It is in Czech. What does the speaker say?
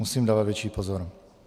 Musím dávat větší pozor.